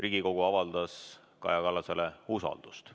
Riigikogu avaldas Kaja Kallasele usaldust.